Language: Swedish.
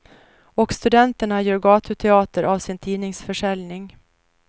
Och studenterna gör gatuteater av sin tidningsförsäljning.